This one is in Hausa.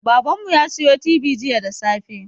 Baban mu ya siyo tibi jiya da safe